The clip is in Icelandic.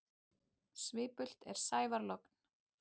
Svipult er sævar logn.